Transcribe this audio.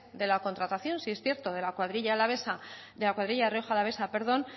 de la contratación sí es cierto de la cuadrilla rioja alavesa